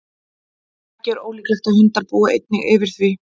ekki er ólíklegt að hundar búi einnig yfir því